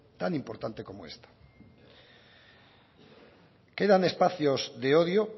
tan importante como esta quedan espacios de odio